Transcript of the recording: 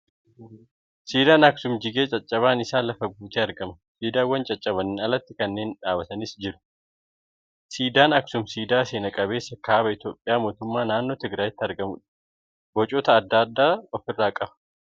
Siidaan Aksuum jigee caccabaan isaa lafa guutee argama . Siidawwan caccabaniin aalatti kanneen dhaabbatanii jiranis mul'achaa jiru. Siidaan Aksuum siidaa seena qabeessa kaaba Itiyoophiyaa mootummas naannnoo Tigiraayitti argamuudha. Bocoota adda addaa ofirraa qaba.